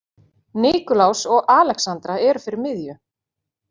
Nikulás og Alexandra eru fyrir miðju.